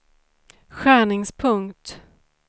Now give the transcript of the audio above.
skärningspunkt